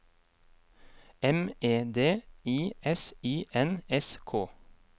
M E D I S I N S K